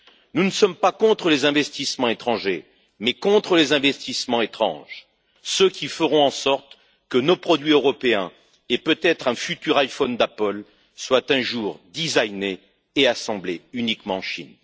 Nous ne sommes pas contre les investissements étrangers mais contre les investissements étranges, ceux qui feront en sorte que nos produits européens, et peut être un futur iPhone d'Apple, soient un jour designés et assemblés uniquement en Chine!